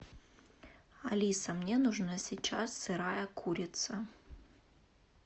алиса мне нужна сейчас сырая курица